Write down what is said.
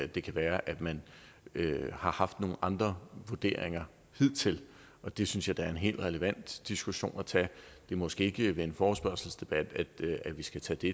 det kan være at man har haft nogle andre vurderinger hidtil og det synes jeg da er en helt relevant diskussion at tage det er måske ikke ved en forespørgselsdebat vi skal tage det